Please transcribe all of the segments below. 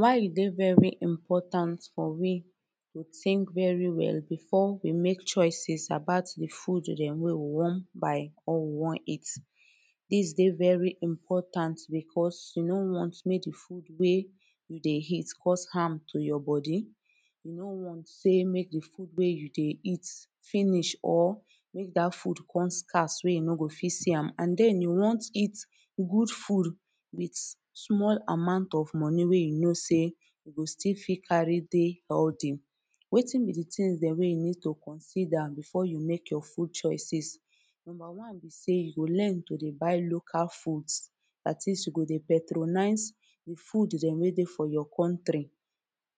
why e dey very important for we to think very well before we make choices about the food dem wey we wan buy or we wan eat this dey very important because we no wan make the food wey we dey eat cause harm to our body we no wan make the food wey you dey eat finish or make that food come scarce wey you no go fit see am an then you wan eat good food with small amount of money wey you know sey e go fit still carry dey healthy. wetin be the things dem wey you need to consider before you make your food choices number one be say you go dey learn to buylocal foods. at least you go dey patronise the food dem wey dey for your country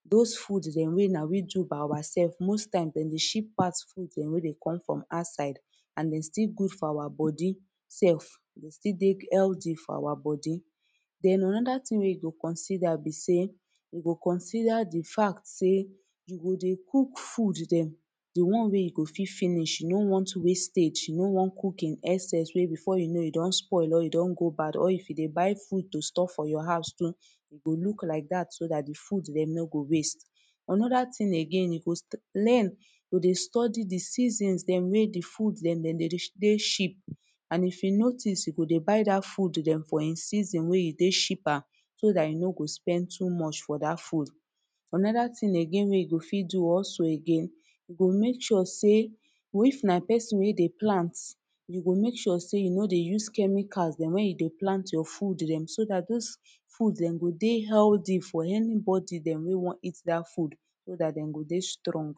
those food dem wey na we do by ourselves like most times dem dey ship fast food them wey dey come from outside an e still good for our body self. e go still dey healthy for our body den anoda thing wey you go consider be sey you go consider the fact sey you go dey cook food dem the one wey you go fit finish you no wan wastage you no wan cook in excess wey before you know e don spoil or e don go bad or if e dey buy food to store for your house too dey look like that too so that dey food dem no go waste anoda thing again you go learn e dey study the seasons dem wey the food dem dey dey cheap an if you notice you go dey buy that food dem for him season wey dey cheaper so that e no go spend to much for that food anoda thing again wey you go fit do also again you go make sure sey, if na person wey dey plant you go make sure sey you no dey use chemicals dem wen you dey plant your food dem so that those food dem go dey healthy for anybody dem wey wan eat that food so that dem go dey strong